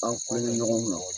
An ko ye ɲɔgɔn kɔnɔ